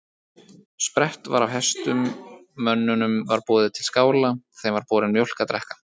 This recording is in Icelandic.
Sprett var af hestum, mönnunum var boðið til skála, þeim var borin mjólk að drekka.